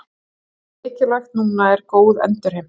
Það sem er mikilvægt núna er góð endurheimt.